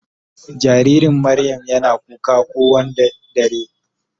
jaririn Mariam Yana kuka ko Wanda dare.